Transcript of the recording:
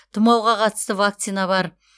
тұмауға қатысты вакцина бар